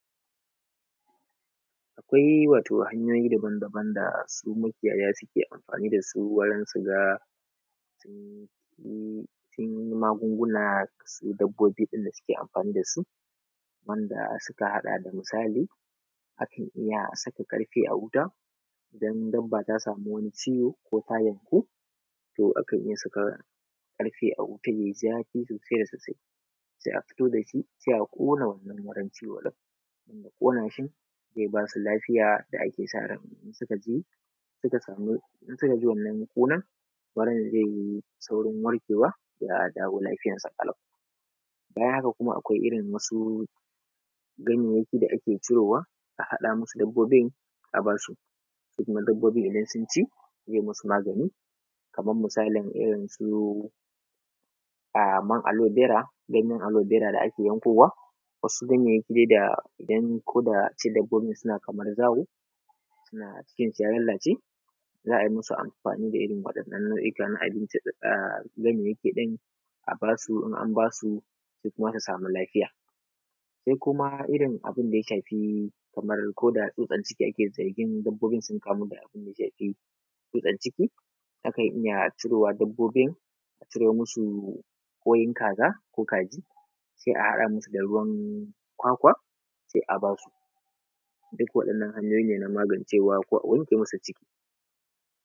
Akwai wato hanya dabandaban da makiyaya ke anfani da su wajen su ga sun maguŋguna su dabbobin da suke anfani da su, wanda suka haɗa da misali: akan iya saka ƙarfe a wuta idan dabba ta sami wani ciwo ko ta yanku, to a kan iya saka ƙarfe a wutan ya yi zafi sosai, se a fito da shi, se a ƙona wannan wurin ciwon ɗin an ƙona shi ze ba su lafiya da ake sa rai suka ji, suka ji wannan ƙuna-ɗin, a yayin ze yi saurin warƙewa, ya dawo lafiyan su ƙalau. Bayan haka kuma akwai wasu irin ganyayyaki da ake cirowa a haɗa masu dabbobin a ba su, su kuma dabbobin idan sun ci ze musu magani, kamar misalin irin su alobera, ganyan alobera da ake yankowa, wasu ganyayaki da ake yankowa koda a ce dabbobin kaman suna zawo, cikin su ya lallace, za a musu anfani da irin nau'ika na abinci a nan yanki, a ba su, in an ba su, duk wani samu lafiya shi kuma iya irin abinda ya shafi tsutsan ciki, akan iya ciro wa dabbobin, a ciro masu ƙwan kaza, ko kaji se a haɗa masu da ruwan ƙwakwa, se a ba su duk waɗannan hanyoyi ne na magancewa ko a wanke masu tsutsan ciki.